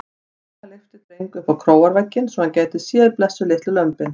Frænka lyfti Dreng upp á króarvegginn svo hann gæti séð blessuð litlu lömbin.